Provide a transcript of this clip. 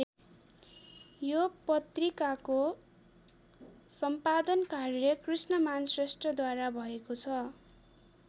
यो पत्रिकाको सम्पादन कार्य कृष्णमान श्रेष्ठद्वारा भएको छ।